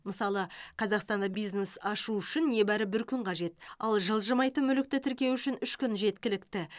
мысалы қазақстанда бизнес ашу үшін небәрі бір күн қажет ал жылжымайтын мүлікті тіркеу үшін үш күн жеткілікті